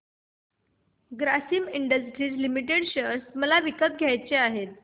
Grasim industries limited share मला विकत घ्यायचे आहेत